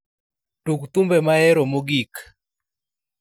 Tug thumbe mahero mogik